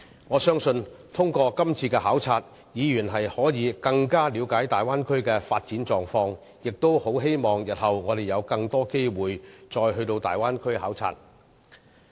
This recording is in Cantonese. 我相信通過今次的考察，議員可更了解大灣區的發展狀況，也希望我們日後有更多機會再到大灣區考察。